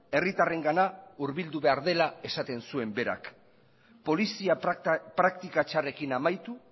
herritarrengana hurbildu behar dela esaten zuen berak polizia praktika txarrekin amaitu